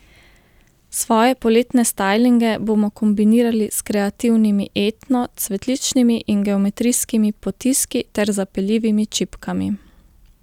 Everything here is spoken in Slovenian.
Svoje poletne stajlinge bomo kombinirali s kreativnimi etno, cvetličnimi in geometrijskimi potiski ter zapeljivimi čipkami.